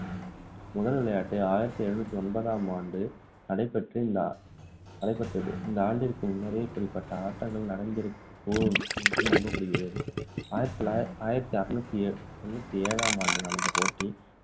முதல் விளையாட்டு ஆயிரத்து எழுநூற்று ஒன்பதாம் ஆண்டு நடைபெற்ற இந்த நடைபெற்று~ நடைபெற்றது இந்த ஆண்டிற்கு முன்னரே இப்படிப்பட்ட ஆட்டங்கள் நடந்திருக்க கூடும் என்று நம்பப்படுகிறது ஆயிரத்து தொள்ளாயிரத்து ஆயிரத்து அறுநூற்று ஏழாம் ஆண்டு நடந்த போட்டி